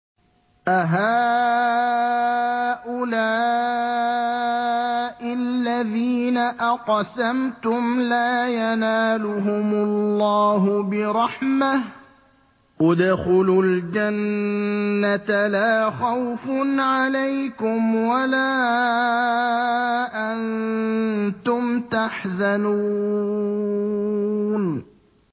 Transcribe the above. أَهَٰؤُلَاءِ الَّذِينَ أَقْسَمْتُمْ لَا يَنَالُهُمُ اللَّهُ بِرَحْمَةٍ ۚ ادْخُلُوا الْجَنَّةَ لَا خَوْفٌ عَلَيْكُمْ وَلَا أَنتُمْ تَحْزَنُونَ